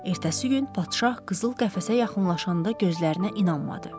Ertəsi gün padşah qızıl qəfəsə yaxınlaşanda gözlərinə inanmadı.